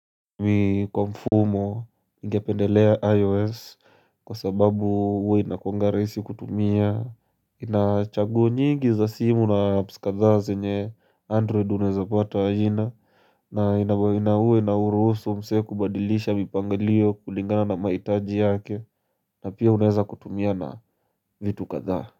Mi kwa mfumo ngependelea IOS kwa sababu huwa inakuwanga rahisi kutumia ina chaguo nyingi za simu na apps kadhaa zenye Android unawezapata haina na huwa inauruhusu msee kubadilisha mipangalio kulingana na mahitaji yake na pia unaweza kutumia na vitu kadhaa.